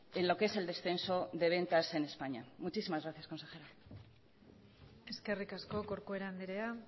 en lo que es el descenso de ventas en españa muchísimas gracias consejero eskerrik asko corcuera andrea